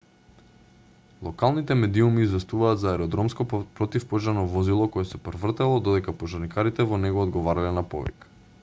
локалните медиуми известуваат за аеродромско противпожарно возило кое се превртело додека пожарникарите во него одговарале на повик